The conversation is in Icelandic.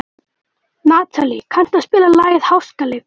Natalí, kanntu að spila lagið „Háskaleikur“?